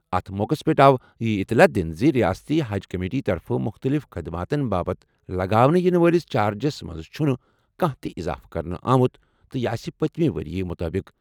اَتھ موقعَس پٮ۪ٹھ آو یہِ اطلاع دِنہٕ زِ ریاستی حج کمیٹی طرفہٕ مُختٔلِف خٔدماتن باپتھ لگاونہٕ یِنہٕ وٲلِس چارجس منٛز چھُنہٕ کانٛہہ تہِ اضافہٕ کرنہٕ آمُت تہٕ یہِ آسہِ پٔتمہِ ؤرۍ یہِ مُطٲبِق۔